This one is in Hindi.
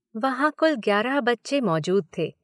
वहाँ कुल ग्यारह बच्चे मौजूद थे।